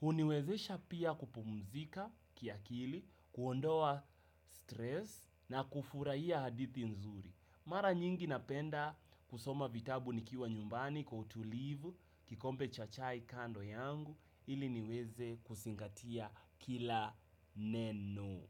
huniwezesha pia kupumzika kiakili, kuondoa stress na kufurahia hadithi nzuri. Mara nyingi napenda kusoma vitabu nikiwa nyumbani kwa utulivu, kikombe cha chai kando yangu ili niweze kusingatia kila neno.